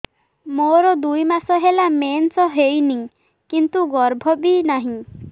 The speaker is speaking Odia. ମୋର ଦୁଇ ମାସ ହେଲା ମେନ୍ସ ହେଇନି କିନ୍ତୁ ଗର୍ଭ ବି ନାହିଁ